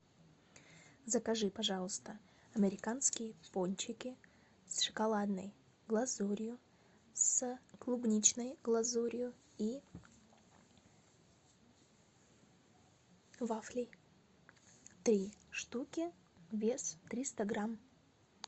закажи пожалуйста американские пончики с шоколадной глазурью с клубничной глазурью и вафли три штуки вес триста грамм